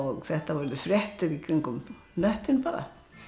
þetta urðu fréttir í kringum hnöttinn bara